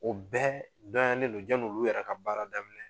O bɛɛ dɔnyanen don jan'olu yɛrɛ ka baara daminɛ